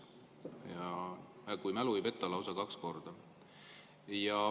Ja kui mu mälu ei peta, siis lausa kaks korda.